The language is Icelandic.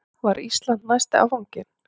Var Ísland næsti áfanginn?